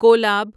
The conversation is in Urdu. کولاب